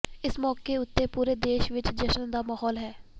ਇਸ ਮੌਕੇ ਉੱਤੇ ਪੂਰੇ ਦੇਸ਼ ਵਿਚ ਜਸ਼ਨ ਦਾ ਮਾਹੌਲ ਹੈ